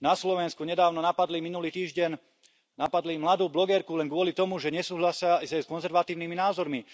Na Slovensku nedávno napadli minulý týždeň mladú blogerku len kvôli tomu, že nesúhlasila s ich konzervatívnymi názormi.